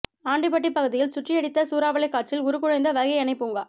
ஆண்டிபட்டி பகுதியில் சுழற்றியடித்த சூறாவளி காற்றில் உருக்குலைந்த வைகை அணை பூங்கா